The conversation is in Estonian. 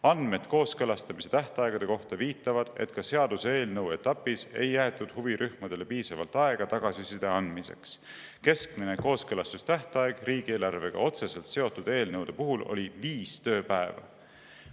Andmed kooskõlastamise tähtaegade kohta viitavad, et ka seaduseelnõu etapis ei jäetud huvirühmadele piisavalt aega tagasiside andmiseks – keskmine kooskõlastustähtaeg riigieelarvega otseselt seotud eelnõude puhul oli viis tööpäeva.